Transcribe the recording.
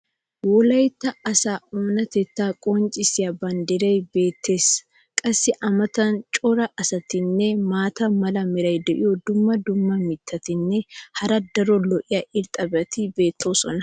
wolaytta asaa oonatettaa qonccisiya banddiray beetees. qassi a matan cora asatinne maata mala meray diyo dumma dumma mitatinne hara daro lo'iya irxxabati beetoosona.